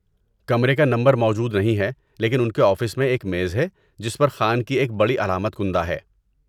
کمرے کا نمبر موجود نہیں ہے، لیکن ان کے آفس میں ایک میز ہے جس پر خان کی ایک بڑی علامت کندہ ہے۔